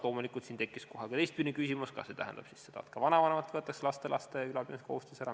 Loomulikult siin tekib kohe ka teistpidine küsimus – kas see tähendab siis seda, et ka vanavanematelt võetakse laste ülalpidamise kohustus ära.